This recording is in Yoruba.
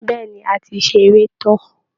Bẹ́ẹ̀ ni, a ti ṣeré tán